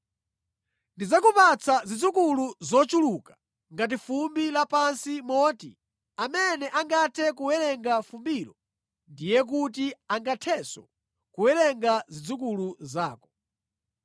Ndidzakupatsa zidzukulu zochuluka ngati fumbi lapansi moti amene angathe kuwerenga fumbilo ndiye kuti angathenso kuwerenga zidzukulu zako.